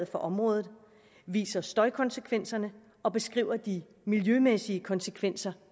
for området viser støjkonsekvenserne og beskriver de miljømæssige konsekvenser